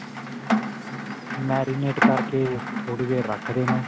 marinate ਕਰਕੇ ਥੋੜੀ ਦੇਰ ਰੱਖ ਦੇਣਾ.